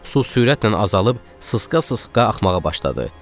Su sürətlə azalıb sısqa-sısqa axmağa başladı.